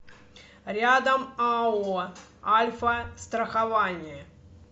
рядом ао альфастрахование